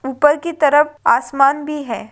उपर की तरफ आसमान भी है।